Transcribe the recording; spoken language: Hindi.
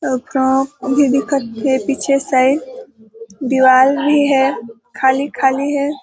अभी दिखत हे पीछे साइड दीवाल भी हे खाली -खाली हे ।